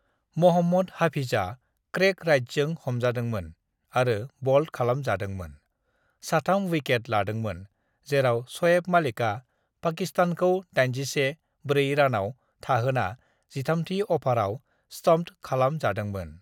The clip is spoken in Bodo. "महम्मद हफीजा क्रेग राइटजों हमजादोंमोन आरो बल्ड खालाम जादोंमोन, साथाम विकेट लादोंमोन, जेराव शएब मालिका पाकिस्तानखौ 81-4 रानाव थाहोना जिथाम्थि अभाराव स्टम्प्ड खालाम जादोंमोन।"